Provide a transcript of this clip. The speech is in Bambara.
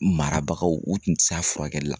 Marabagaw u tun tɛ se a furakɛli la